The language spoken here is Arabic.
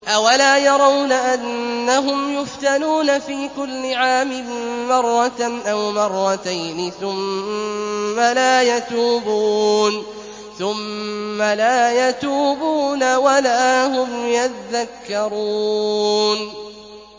أَوَلَا يَرَوْنَ أَنَّهُمْ يُفْتَنُونَ فِي كُلِّ عَامٍ مَّرَّةً أَوْ مَرَّتَيْنِ ثُمَّ لَا يَتُوبُونَ وَلَا هُمْ يَذَّكَّرُونَ